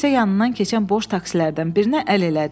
Sonra isə yanından keçən boş taksilərdən birinə əl elədi.